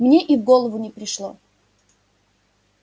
мне и в голову не пришло